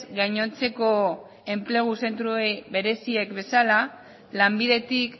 gainontzeko enplegu zentroei bereziek bezala lanbidetik